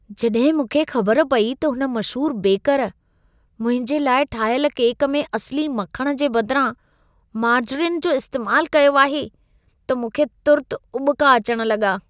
जॾहिं मूंखे ख़बर पई त हुन मशहूर बेकर मुंहिंजे लाइ ठाहियल केक में असिली मखण जे बदिरां मार्जरिन जो इस्तेमाल कयो आहे, त मूंखे तुर्त उॿिका अचण लॻा।